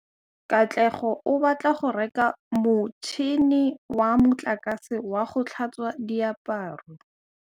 Katlego o batla go reka motšhine wa motlakase wa go tlhatswa diaparo.